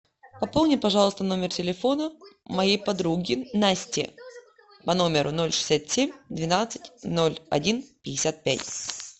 пополни пожалуйста номер телефона моей подруги насти по номеру ноль шестьдесят семь двенадцать ноль один пятьдесят пять